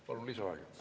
Palun lisaaega.